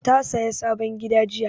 Ta saya sabon gida jiya